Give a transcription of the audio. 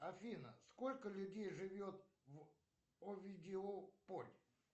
афина сколько людей живет в овидиополь